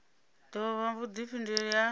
ḓo vha na vhuḓifhinduleli ha